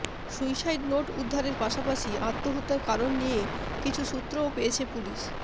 suicide note উদ্ধারের পাশাপাশি আত্মহত্যার কারণ নিয়ে কিছু সূত্রও পেয়েছে পুলিশ